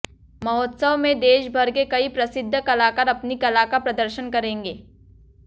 महोत्सव में देश भर के कई प्रसिद्ध कलाकार अपनी कला का प्रदर्शन करेंगे